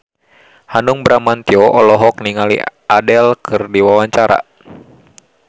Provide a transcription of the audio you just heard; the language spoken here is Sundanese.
Hanung Bramantyo olohok ningali Adele keur diwawancara